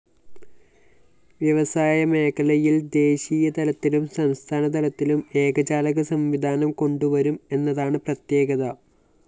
വ്യവസായമേഖലയില്‍ ദേശീയതലത്തിലും സംസ്ഥാനതലത്തിലും ഏകജാലകസംവിധാനം കൊണ്ടുവരും എന്നതാണ്‌ പ്രത്യേകത